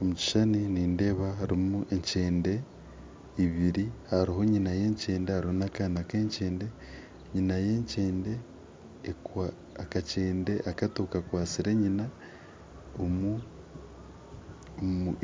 Omu kishuushani nindeeba harimu ekyende ibiiri hariho nyina y'ekyende n'akaana k'ekyende , akakyende akato kakwatsire nyina omu